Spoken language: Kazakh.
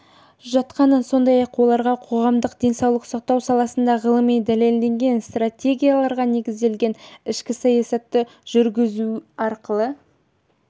жатқанын сондай-ақ оларға қоғамдық денсаулық сақтау саласында ғылыми дәлелденген стратегияларға негізделген ішкі саясатты жүргізу арқылы